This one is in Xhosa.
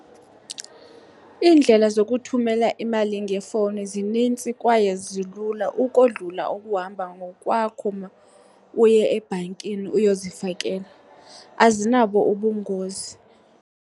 Iindlela zokuthumela imali ngefowuni zinintsi kwaye zilula ukodlula ukuhamba ngokwakho uma uye ebhankini uyozifakela, azinabo ubungozi.